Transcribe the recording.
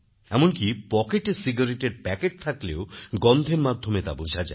এমনকি পকেটে সিগারেটের প্যাকেট থাকলেও গন্ধের মাধ্যমে তা বোঝা যায়